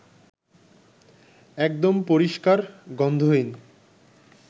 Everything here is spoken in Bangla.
একদম পরিষ্কার, গন্ধহীন